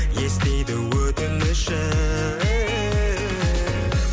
естиді өтінішін